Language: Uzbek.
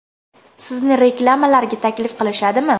Sizni reklamalarga taklif qilishadimi?